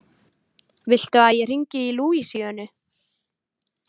Viltu að ég hringi í Lúísíönu?